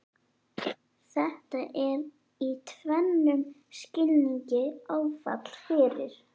Þetta er í tvennum skilningi áfall fyrir